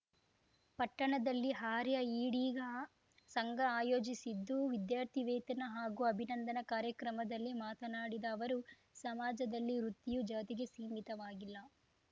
ಪಟ್ಟಣದಲ್ಲಿ ಆರ್ಯ ಈಡಿಗ ಸಂಘ ಆಯೋಜಿಸಿದ್ದು ವಿದ್ಯಾರ್ಥಿ ವೇತನ ಹಾಗೂ ಅಭಿನಂದನಾ ಕಾರ್ಯಕ್ರಮದಲ್ಲಿ ಮಾತನಾಡಿದ ಅವರು ಸಮಾಜದಲ್ಲಿ ವೃತ್ತಿಯು ಜಾತಿಗೆ ಸೀಮಿತವಾಗಿಲ್ಲ